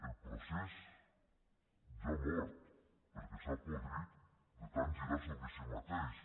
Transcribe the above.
el procés ja ha mort perquè s’ha podrit de tant girar sobre si mateix